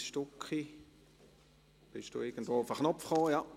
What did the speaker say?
Béatrice Stucki, sind Sie irgendwo auf den Knopf gekommen?